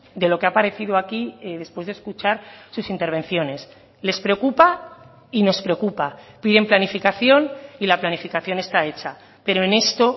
de lo que ha parecido aquí después de escuchar sus intervenciones les preocupa y nos preocupa piden planificación y la planificación está hecha pero en esto